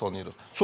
Çox az tanıyırıq.